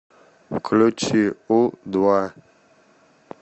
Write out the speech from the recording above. включи у два